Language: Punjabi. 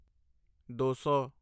ਦੋ ਸੌ